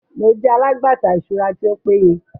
Mo jẹ alagbata iṣura ti o peye